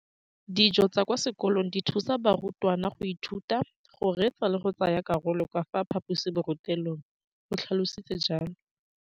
Dijo tsa kwa sekolong dithusa barutwana go ithuta, go reetsa le go tsaya karolo ka fa phaposiborutelong, o tlhalositse jalo.